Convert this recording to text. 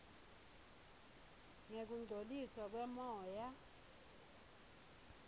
ngekungcoliswa kwemoya